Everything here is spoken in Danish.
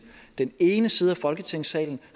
den ene side af folketingssalen